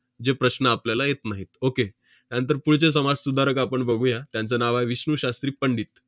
जे प्रश्न आपल्याला येत नाहीत. okay त्यानंतर पुढचे समाजसुधारक आपण बघूया. त्यांचं नाव आहे 'विष्णू शास्त्री पंडित'.